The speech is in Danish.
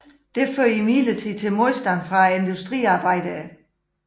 Dette førte imidlertid til modstand fra industriarbejderne